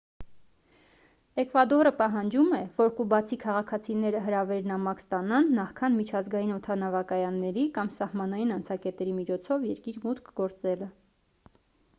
էկվադորը պահանջում է որ կուբացի քաղաքացիները հրավեր-նամակ ստանան նախքան միջազգային օդանավակայանների կամ սահմանային անցակետերի միջոցով երկիր մուտք գործելը